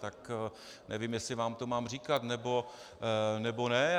Tak nevím, jestli vám to mám říkat, nebo ne.